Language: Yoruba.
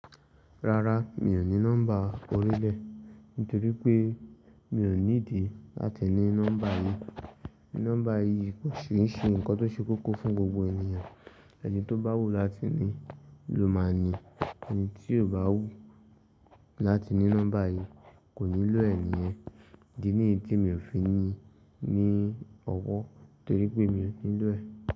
Rárá mi ò ní nọ́mbà orílẹ̀ nítorí pé mi ò ní ìdí láti ní nọ́mbà yìí. Nọ́mbà yìí kò ṣe ń ṣe nǹkan tó ṣe kókó fún gbogbo ènìyàn, ẹni tó bá wù láti ní ló máa níi, ẹni tí kò bá wù láti ní nọ́mbà yìí kò nílò ẹ̀ nìyẹn. Idi ní ti mi ò fi ní ní ọwọ́ nítorí pé mi ò nílò ẹ̀